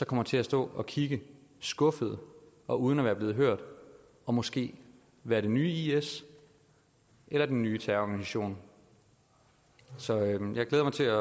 kommer til at stå og kigge skuffede og uden at være blevet hørt og måske være det nye is eller den nye terrororganisation så jeg glæder mig til